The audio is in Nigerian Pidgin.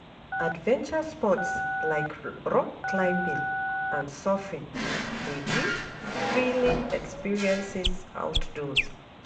Adventure sports, like rock climbing and surfing, dey give thrilling experiences outdoors.